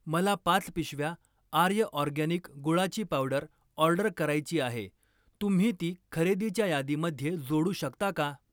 मला पाच पिशव्या आर्य ऑरगॅनिक गुळाची पावडर ऑर्डर करायची आहे, तुम्ही ती खरेदीच्या यादीमध्ये जोडू शकता का?